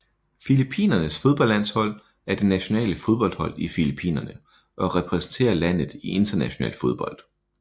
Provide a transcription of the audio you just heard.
Filippinernes fodboldlandshold er det nationale fodboldhold i Filippinerne og repræsenterer landet i international fodbold